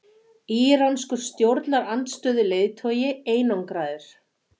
Íranskur stjórnarandstöðuleiðtogi einangraður